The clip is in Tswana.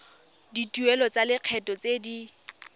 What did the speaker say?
dituelo tsa lekgetho tse di